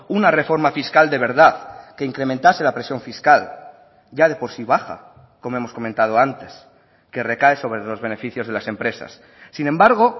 una reforma fiscal de verdad que incrementase la presión fiscal ya de por sí baja como hemos comentado antes que recae sobre los beneficios de las empresas sin embargo